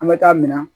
An bɛ taa minan